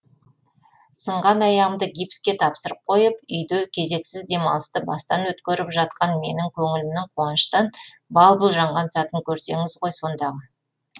сынған аяғымды гипске тапсырып қойып үйде кезексіз демалысты бастан өткеріп жатқан менің көңілімнің қуаныштан бал бұл жанған сәтін көрсеңіз ғой сондағы